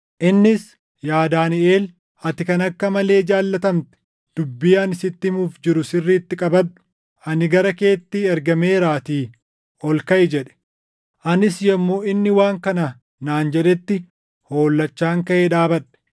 Innis, “Yaa Daaniʼel, ati kan akka malee jaallatamte dubbii ani sitti himuuf jiru sirriitti qabadhu; ani gara keetti ergameeraatii ol kaʼi” jedhe. Anis yommuu inni waan kana naan jedhetti hollachaan kaʼee dhaabadhe.